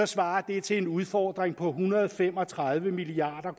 svarer det til en udfordring på en hundrede og fem og tredive milliard